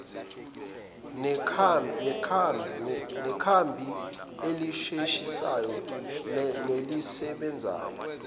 nekhambi elisheshisayo nelisebenzayo